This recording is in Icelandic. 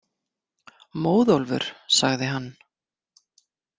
Móðólfur, sagði hann.